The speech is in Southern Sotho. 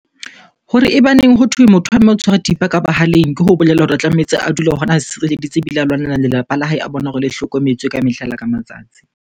Hore e baneng hothwe motho wa mme o tshwara thipa ka bohaleng. Ke ho bolela hore o tlametse a dule hona a sirelleditse ebile a lwanela lelapa la hae, a bona hore le hlokometswe ka mehla le ka matsatsi.